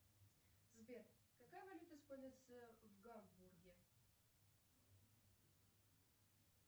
сбер какая валюта используется в гамбурге